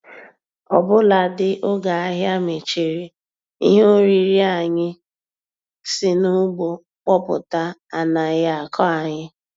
Ọbụladị oge ahịa mechiri, ihe oriri anyị si n'ugbo kpọpụta anaghị akọ anyị.